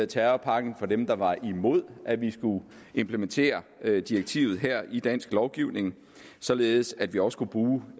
terrorpakken af dem der var imod at vi skulle implementere direktivet i dansk lovgivning således at vi også kunne bruge